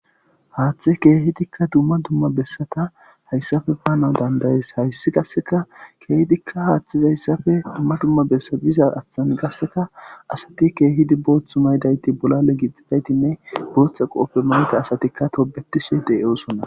Haaththe keehidikka dumma dumma bessata hayssafe paanaw dandayees hayssi qasseka keehidikka haaththiza hayssafe dumma dumma bessa biza ashthan qasseka asati keehidi booththu maydayti bolale gixxidaytinne booththa qoofe manta asatikka tobetishe deyoosonna.